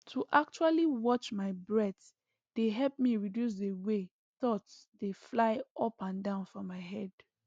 to actually watch my breath dey help me reduce the way thoughts dey fly up and down for my head